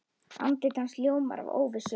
Andlit hans ljómar af óvissu.